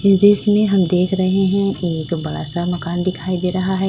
जिस में हम देख रहे हैं एक बड़ा सा मकान दिखाई दे रहा है।